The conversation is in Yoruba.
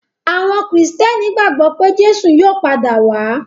Àwọn Kìrìtẹ́ẹ́nì gbagbọ pé Jésù yóò padà wá.